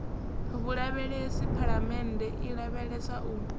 vhulavhelesi phalamennde i lavhelesa u